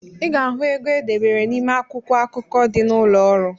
I ga-ahụ ego e debere n’ime akwụkwọ akụkọ dị n’ụlọọrụ